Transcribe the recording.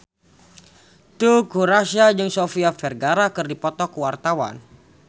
Teuku Rassya jeung Sofia Vergara keur dipoto ku wartawan